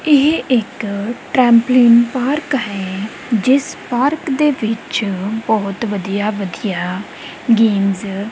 ਇਹ ਇੱਕ trampoline park ਹੈ ਜਿਸ ਪਾਰਕ ਦੇ ਵਿੱਚ ਬਹੁਤ ਵਧੀਆ ਵਧੀਆ ਗੇਮਸ --